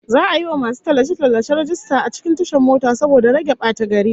Za'a yi wa masu tallace-tallace rajista a cikin tashar mota saboda rage batagari